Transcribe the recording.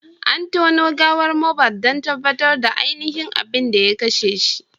An tono gawar Mohbad don tabbatar da ainihin abin da ya kashe shi.